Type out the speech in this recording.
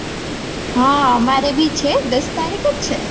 હા અમારે બી છે દસ તારીકે જ છે